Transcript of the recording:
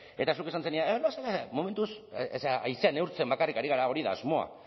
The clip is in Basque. eta zuk esan zenidan momentuz haizea neurtzen bakarrik ari gara hori da asmoa